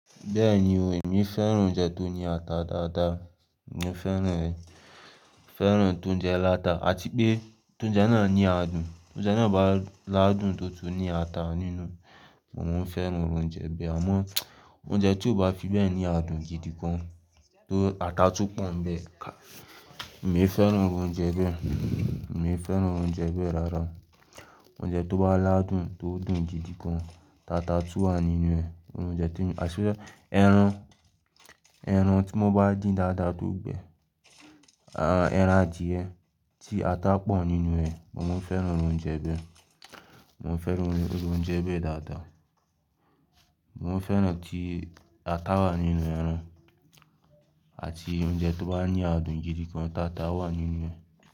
Bẹ́ẹ̀ni o, èmi fẹ́ràn oúnjẹ tó ní ata dáadáa, mo fẹ́ràn ẹ, fẹ́ràn tóúnjẹ láta, àti pé tóúnjẹ náà ní adùn, tóúnjẹ náà bá ládùn tó tún ní ata nínú, mo máa ń fẹ́ràn oúnjẹ bẹ́ẹ̀. Àmọ́ oúnjẹ tí ó bá fi bẹ́ẹ̀ ní adùn gidi gan an ti ata tún pọ̀ nbẹ́ẹ̀, ka-- mi ò ni fẹ́ràn oúnjẹ bẹ́ẹ̀, mi ò fẹ́ràn oúnjẹ bẹ́ẹ̀ rárá. Oúnjẹ tó bá ládùn tó dùn gidi gan, tata tú wà nínú ẹ̀, oúnjẹ tí, àṣẹ́, ẹran, ẹran tí wọ́n bá dín dáadáa tó gbẹ, a, ẹran adìyẹ tí ata pọ̀ nínú rẹ̀, mo máa ń fẹ́ràn irú oúnjẹ bẹ́ẹ̀. Mo máa ń fẹ́ràn irú oúnjẹ bẹ́ẹ̀ dáadáa. Mo máa ń fẹ́ràn tí ata wà nínú ẹran àti oúnjẹ tó bá ní adùn gidi gan, tata wà nínú ẹ̀.